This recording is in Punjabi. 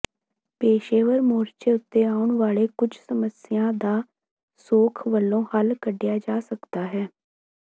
ਪੇਸ਼ੇਵਰ ਮੋਰਚੇ ਉੱਤੇ ਆਉਣ ਵਾਲੀ ਕੁੱਝ ਸਮੱਸਿਆ ਦਾ ਸੌਖ ਵਲੋਂ ਹੱਲ ਕੱਢਿਆ ਜਾ ਸਕਦਾ ਹੈ